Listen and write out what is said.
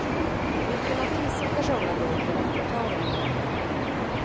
Vilken artist som ska sjunga låten är inte klar ännu.